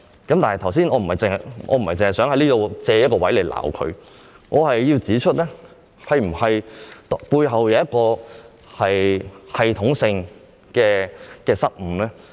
但是，我不是要藉此機會責罵政府，而是要指出背後是否出現了系統性的失誤。